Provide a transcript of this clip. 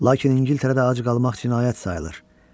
Lakin İngiltərədə ac qalmaq cinayət sayılır.